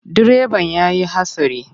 Direban ya yi hatsari.